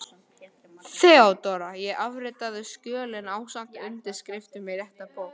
THEODÓRA: Ég afritaði skjölin ásamt undirskriftum í rétta bók.